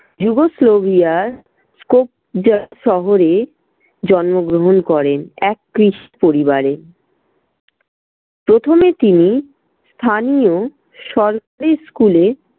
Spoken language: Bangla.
শহরে জন্মগ্রহণ করেন এক খ্রিস্ট পরিবারে। প্রথমে তিনি স্থানীয় সরকারি school এ